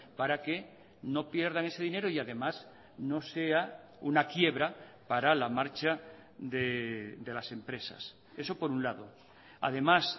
para que no pierdan ese dinero y además no sea una quiebra para la marcha de las empresas eso por un lado además